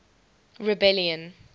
rebellion